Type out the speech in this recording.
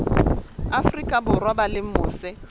afrika borwa ba leng mose